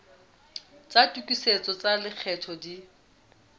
tsa tokisetso tsa lekgetho di